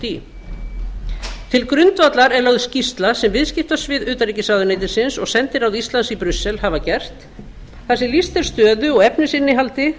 í til grundvallar er lögð skýrsla sem viðskiptasvið utanríkisráðuneytisins og sendiráð íslands í brussel hafa gert þar sem lýst er stöð og efnisinnihaldi